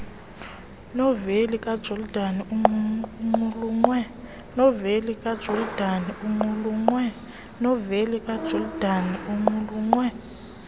noveli kajordan iqulunqwe